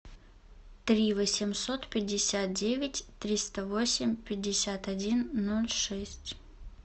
три восемьсот пятьдесят девять триста восемь пятьдесят один ноль шесть